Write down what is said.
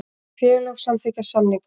Félög samþykkja samninga